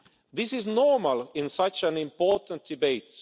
This is normal in such an important debate.